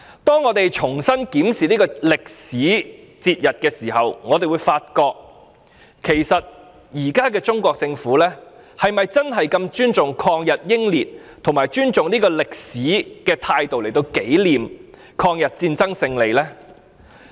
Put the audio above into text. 當我們重新檢視這個節日的歷史時，我們會發覺現在的中國政府並沒有以尊重抗日英烈及尊重歷史的態度來紀念抗日戰爭勝利。